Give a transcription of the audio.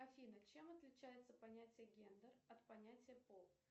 афина чем отличается понятие гендер от понятия пол